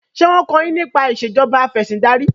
ṣe wón kọ yín nípa Ìṣèjọba Afẹ̀sìndarí?